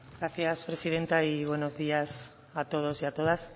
gracias presidenta y buenos días a todos y a todas